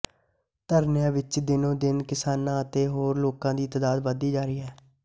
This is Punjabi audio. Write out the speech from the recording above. ਧਰਨਿਆਂ ਵਿੱਚ ਦਿਨੋਂ ਦਿਨ ਕਿਸਾਨਾਂ ਅਤੇ ਹੋਰ ਲੋਕਾਂ ਦੀ ਤਾਦਾਦ ਵਧਦੀ ਜਾ ਰਹੀ ਹੈ